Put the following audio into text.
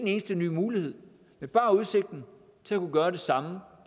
eneste ny mulighed men bare udsigten til at kunne gøre det samme